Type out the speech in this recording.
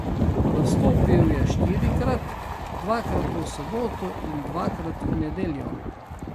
Nastopil je štirikrat, dvakrat v soboto in dvakrat v nedeljo.